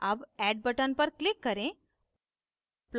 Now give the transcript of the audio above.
add add button पर click करें